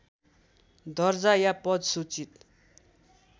दर्जा या पद सूचित